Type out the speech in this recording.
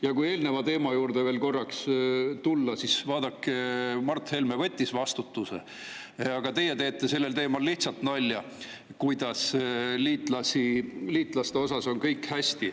Ja kui veel korraks eelmise teema juurde tulla, siis, vaadake, Mart Helme võttis vastutuse, aga teie teete sellel teemal lihtsalt nalja, kuidas liitlaste osas on kõik hästi.